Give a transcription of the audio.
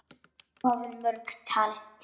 Þú hafðir mörg talent.